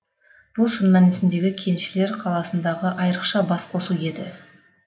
бұл шын мәнісіндегі кеншілер қаласындағы айрықша бас қосу еді